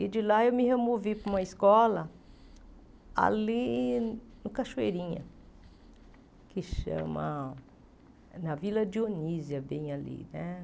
E de lá eu me removi para uma escola ali no Cachoeirinha, que chama... Na Vila Dionísia, bem ali.